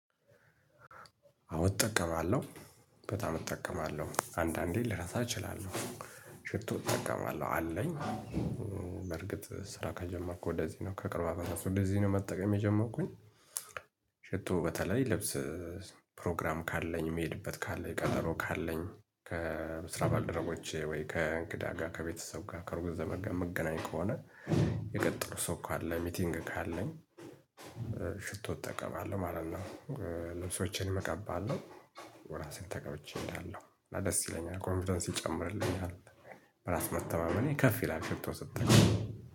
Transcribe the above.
አዎ እጠቀማለሁ በጣም እጠቀማለሁ አንዳንዴ ልረሳ እችላለሁ ሽቶ እጠቀማለሁ አለኝ። በርግጥ ስራ ከጀመርኩ ወደዚህ ነው ከቅርብ አመታት ወደዚህ ነው መጠቀም የጀመርኩኝ። ሽቶ በተለይ ልብስ ፕሮግራም ካለኝ የምሄድበት ካለኝ ቀጠሮ ካለኝ ከስራ ባልደረቦቼ ወይ ከእንግዳ ጋር ከቤተሰብ ጋር ከሩቅ ዘመድ ጋር የምገናኝ ከሆነ። የቀጠርኩት ሰው ካለ ሚቲንግ ካለኝ ሽቶ እጠቀማለሁ ማለት ነው። ልብሶቼንም እቀባለው እራሴም ተቀብቼ እሄዳለሁ እና ደስ ይለኛል ኮንፊደንስ ይጨምርልኛል። በራስ መተማመኔ ከፍ ይላል ሽቶ ስጠቀም